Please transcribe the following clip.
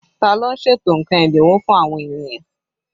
Ta ló ń ṣètò nǹkan ẹ́dínwó fún àwọn ènìyàn?